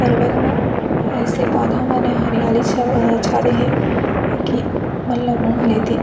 पर्वत मा ऐसे पौधा मेने हरियाली छाअअअ-- है की . मन ला मोह लेथे--